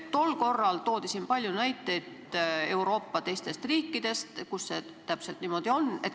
Tol korral toodi siin palju näiteid Euroopa teistest riikidest, kus see täpselt niimoodi on.